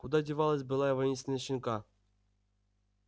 куда девалась былая воинственность щенка